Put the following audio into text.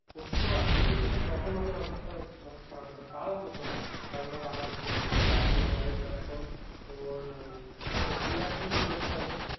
সত্তর আশিতে যেতো তখন ওদের অবস্থা মানে খারাপ হতো তাও হতো না কারণ ধর আমার দাদুরই বয়স ধর এখন তোর ওই কত বিরাশি তিরাশি হবে,